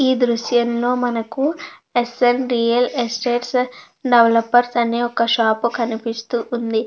ఈ దృశ్యం లో మనకు S N D L estates developers అనే ఒక షాప్ కనిపిస్తూ ఉంది.